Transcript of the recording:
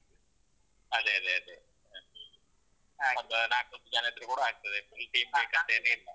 ಅದೇ, ಅದೇ, ಅದೇ ಒಂದು ನಾಕು ಜನ ಇದ್ರೆ ಕೂಡ ಆಗ್ತದೆ ಅಂತೇನು ಇಲ್ಲ.